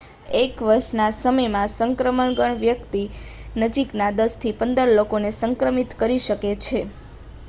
એક વર્ષના સમયમાં સંક્રમણગ્રસ્ત વ્યક્તિ નજીકના 10થી 15 લોકોને સંક્રમિત કરી શકે છે